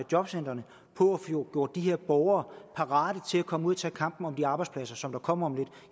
jobcentrene på at få gjort de her borgere parate til at komme ud at tage kampen om de arbejdspladser som kommer om lidt